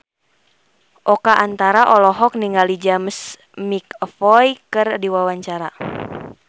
Oka Antara olohok ningali James McAvoy keur diwawancara